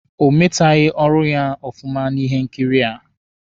O meteghi ọrụ ya ọfụma na ihe nkiri a.